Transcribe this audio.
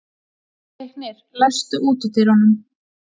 Leiknir, læstu útidyrunum.